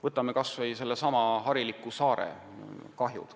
Vaatame kas või hariliku saare kahjusid.